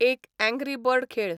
एक angry bird खेळ